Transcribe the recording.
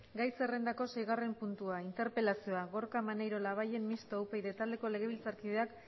gai zerrendako seigarrena puntua interpelazioa gorka maneiro labayen mistoa upyd taldeko legebiltzarkideak